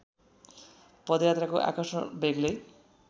पदयात्राको आकर्षण बेग्लै